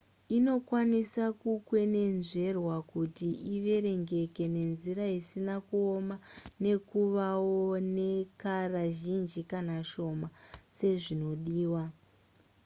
inokwanisa kukwenenzverwa kuti iverengeke nenzira isina kuoma nekuvawo nekara zhinji kana shoma sezvinodiwa